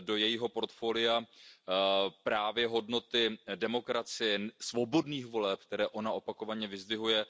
Do jejího portfolia patří právě hodnoty demokracie, svobodných voleb, které ona opakovaně vyzdvihuje.